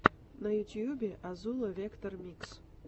на ютубе азула вектор микс